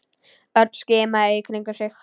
Örn skimaði í kringum sig.